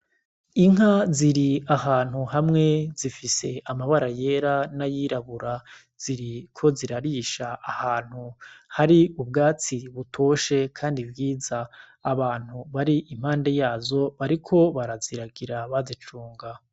Inka ziri ahantu hamwe zifise amabara yera n'ayirabura ziriko zirarisha ahantu hari ubwatsi butoshe kandi bwiza. Abantu bari impande yazo bariko baraziragira bazicunga.